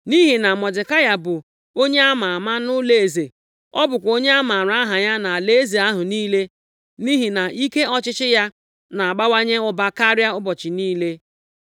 Nʼihi na Mọdekai bụ onye a ma ama nʼụlọeze, ọ bụkwa onye a maara aha ya nʼalaeze ahụ niile, nʼihi na ike ọchịchị ya na-abawanye ụba karịa ụbọchị niile.